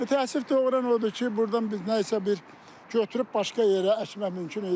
Və təəssüf doğuran odur ki, burdan biz nəyisə bir götürüb başqa yerə əkmək mümkün idi.